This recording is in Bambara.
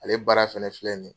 Ale baara fɛnɛ filɛ nin ye.